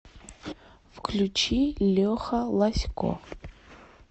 включи леха лазько